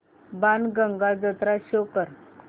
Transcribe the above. बाणगंगा जत्रा शो कर